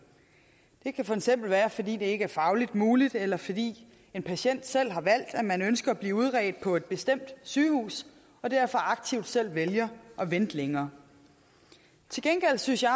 det kan for eksempel være fordi det ikke er fagligt muligt eller fordi en patient selv har valgt at man ønsker at blive udredt på et bestemt sygehus og derfor aktivt selv vælger at vente længere til gengæld synes jeg